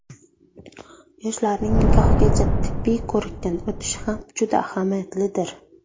Yoshlarning nikohgacha tibbiy ko‘rikdan o‘tishi ham juda ahamiyatlidir.